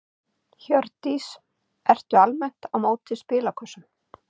Hjördís: Ertu almennt á móti spilakössum?